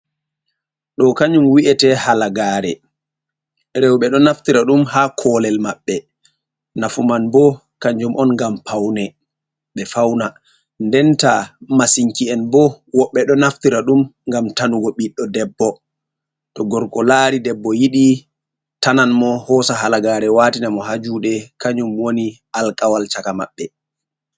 Do kanyum wi'ete halagaare rowɓe ɗo naftira ɗum ha kolel maɓɓe nafu man bo kanjum on ngam paune ɓe fauna ndenta masinki'en bo woɓɓe ɗo naftira ɗum gam tanugo ɓiɗɗo debbo to gorko laari debbo yiɗi tanan mo hoosa halagare watina mo ha juɗe kanjum woni alkawal shaka maɓɓe.